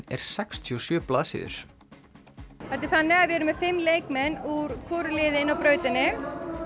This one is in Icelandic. er sextíu og sjö blaðsíður þetta er þannig að við erum með fimm leikmenn úr hvoru liði inni á brautinni